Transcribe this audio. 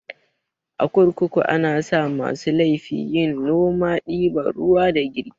A kurkuku anasa masu laifi yin noma, ɗiban ruwa da girki